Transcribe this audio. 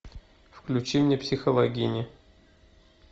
включи мне психологини